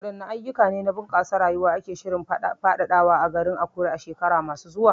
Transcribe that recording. Wadanne ayyuka ne na bunƙasa rayuwa ake shirin faɗaɗawa a garin Akure a shekaru masu zuwa?